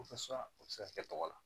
o bɛ se ka kɛ tɔgɔ la